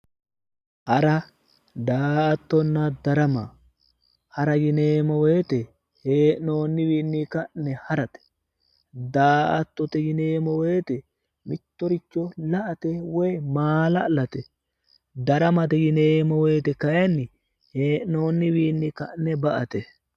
Hara, daa'attonna darama, hara yineemo woyiitte hee'nooniwinni ka'ne haratte, daa'attotte yineemo woyiitte mittoricho la'atte woyi maala'latte, daramatte yineemo woyiitte kayiinni hee'nooniwiinni ka'ne ba'atte.